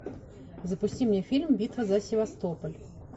запусти мне фильм битва за севастополь